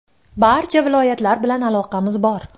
Barcha viloyatlar bilan aloqamiz bor.